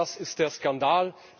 Genau das ist der Skandal.